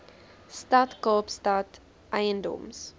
stad kaapstad eiendoms